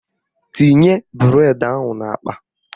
Tinye bụredi ahụ n'akpa!